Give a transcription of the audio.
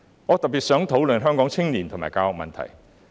我特別想討論香港青年和教育的問題。